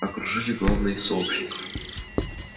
окружили главные из сообщников